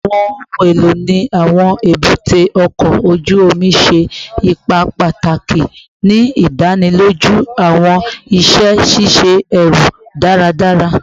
Awọn ohun elo ni awọn ebute oko oju omi ṣe ipa pataki ni idaniloju awọn iṣẹ ṣiṣe ẹru daradara